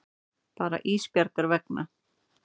Bara Ísbjargar vegna.